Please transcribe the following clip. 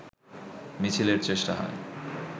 মিছিলের চেষ্টা হয়